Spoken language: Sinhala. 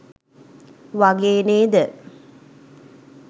වගේ නේද?